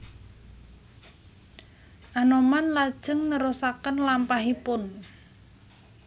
Anoman lajeng nerusaken lampahipun